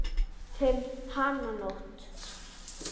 Um hánótt.